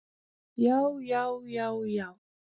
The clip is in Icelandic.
Já, já, já, já!